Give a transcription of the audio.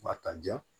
Ba ta diya